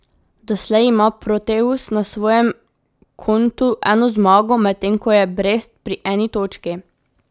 Doslej ima Proteus na svojem kontu eno zmago, medtem ko je Brest pri eni točki.